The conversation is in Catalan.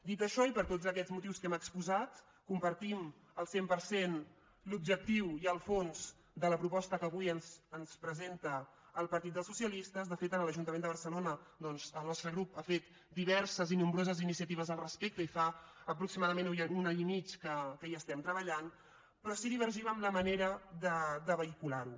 dit això i per tots aquests motius que hem exposat compartim al cent per cent l’objectiu i el fons de la proposta que avui ens presenta el partit dels socialistes de fet a l’ajuntament de barcelona doncs el nostre grup ha fet diverses i nombroses iniciatives al respecte i fa aproximadament un any i mig que hi estem treballant però sí que divergim en la manera de vehicular ho